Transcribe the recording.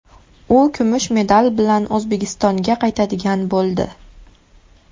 U kumush medal bilan O‘zbekistonga qaytadigan bo‘ldi.